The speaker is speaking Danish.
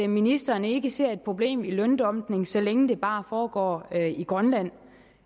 ministeren ikke ser et problem i løndumping så længe det bare foregår i grønland